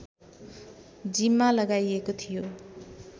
जिम्मा लगाइएको थियो